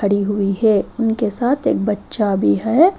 खड़ी हुई है उनके साथ एक बच्चा भी है।